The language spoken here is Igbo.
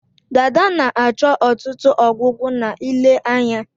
Dada na-achọ ọtụtụ ọgwụgwọ na ile anya